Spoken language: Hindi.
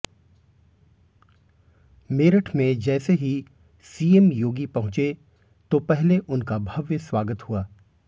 मेरठ में जैसे ही सीएम योगी पहुंचे तो पहले उनका भव्य स्वागत हुआ